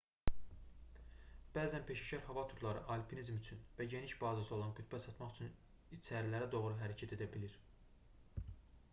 bəzən peşəkar hava turları alpinizm üçün və geniş bazası olan qütbə çatmaq üçün içərilərə doğru hərəkət edə bilir